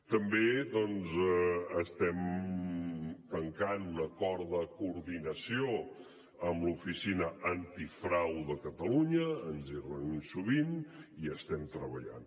també estem tancant un acord de coordinació amb l’oficina antifrau de catalunya ens hi reunim sovint i hi estem treballant